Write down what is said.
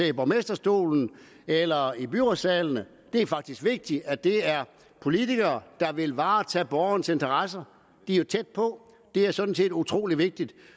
i borgmesterstolen eller i byrådssalen det er faktisk vigtigt at det er politikere der vil varetage borgernes interesser de er jo tæt på det er sådan set utrolig vigtigt